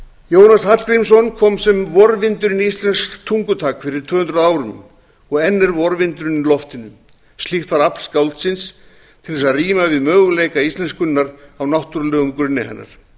jónas hallgrímsson kom sem vorvindur inn í íslenskt tungutak fyrir tvö hundruð árum og enn er vorvindurinn í loftinu slíkt var afl skáldsins til þess að ríma við möguleika íslenskunnar á náttúrulegum grunni hennar